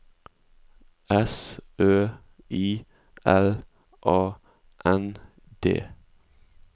S Ø I L A N D